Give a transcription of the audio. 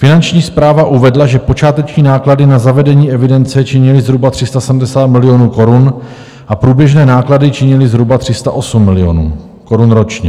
Finanční správa uvedla, že počáteční náklady na zavedení evidence činily zhruba 370 milionů korun a průběžné náklady činily zhruba 308 milionů korun ročně.